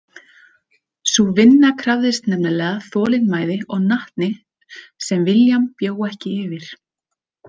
Sú vinna krafðist nefnilega þolinmæði og natni sem William bjó ekki yfir.